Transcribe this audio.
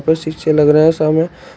ऊपर शीशे लग रहा है सामने--